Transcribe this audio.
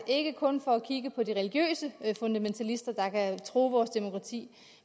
ikke kun for at kigge på de religiøse fundamentalister der kan true vores demokrati